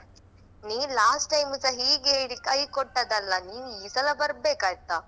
ನೀನ್ last time ಸ ಹೀಗೆ ಇಡಿ ಕೈ ಕೊಟ್ಟದಲ್ಲಾ ನೀನ್ ಈ ಸಲ ಬರ್ಬೇಕೈತ.